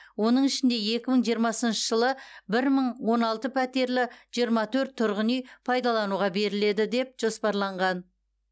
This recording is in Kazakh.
оның ішінде екі мың жиырмасыншы жылы бір мың он алты пәтерлі жиырма төрт тұрғын үй пайдалануға беріледі деп жоспарланған